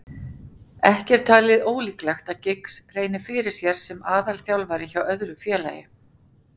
Ekki er talið ólíklegt að Giggs reyni fyrir sér sem aðalþjálfari hjá öðru félagi.